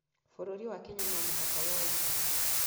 Bũrũri wa Kenya no mũhaka woye ikinya